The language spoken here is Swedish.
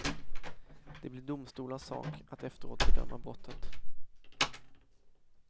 Det blir domstolars sak att efteråt bedöma brottet.